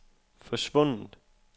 forsvundet